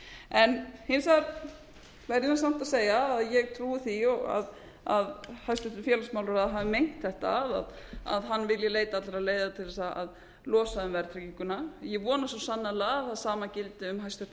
en hins vegar verð ég samt að segja að ég trúi því að hæstvirtur félagsmálaráðherra hafi meint þetta að hann vilji leita allra leiða til þess að losa um verðtrygginguna ég vona svo sannarlega að það sama gildi um hæstvirtan